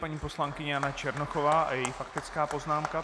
Paní poslankyně Jana Černochová a její faktická poznámka.